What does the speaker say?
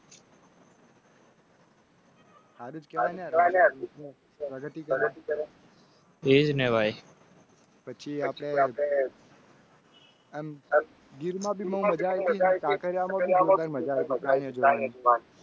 તેજ઼ ને ભાઈ. પછી આપને. ગિર માં બી મજા કરાઓકે મજાક?